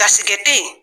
Gasikɛ te ye